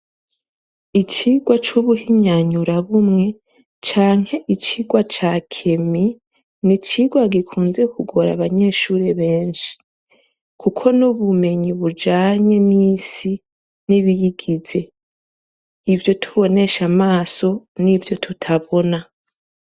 Icigwa c'ubuhinyanyurabumwe canke icigwa cakemi n'icigwa gikunze kugora abanyeshure beshi kuko n'bumenyi bujanye n'isi n'ibiyigize, ivyo tubonesha amaso n'ivyotutabona.